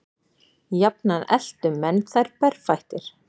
Jafnan eltu menn þær berfættir.